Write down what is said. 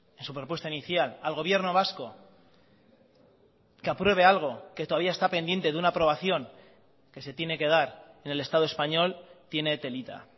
en su propuesta inicial al gobierno vasco que apruebe algo que todavía está pendiente de una aprobación que se tiene que dar en el estado español tiene telita